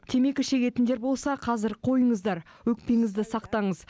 темекі шегетіндер болса қазір қойыңыздар өкпеңізді сақтаңыз